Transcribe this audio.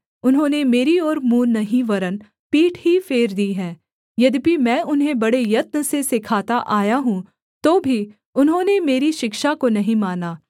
उन्होंने मेरी ओर मुँह नहीं वरन् पीठ ही फेर दी है यद्यपि मैं उन्हें बड़े यत्न से सिखाता आया हूँ तो भी उन्होंने मेरी शिक्षा को नहीं माना